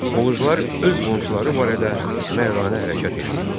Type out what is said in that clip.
Oğuzlar öz qonşuları barədə mərdanə hərəkət eləyirdilər.